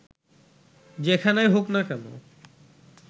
যেখানেই হোক না কেন